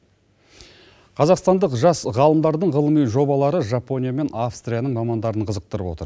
қазақстандық жас ғалымдардың ғылыми жобалары жапония мен австрияның мамандарын қызықтырып отыр